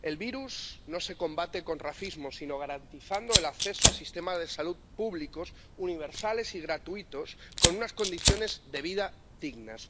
El virus no se combate con racismo, sino garantizando el acceso a sistemas de salud públicos, universales y gratuitos, con unas condiciones de vida dignas.